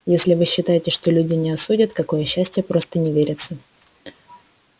если вы считаете что люди не осудят какое счастье просто не верится